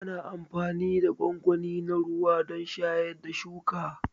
Ana amfani da gwangwani na ruwa don shayar da shuka.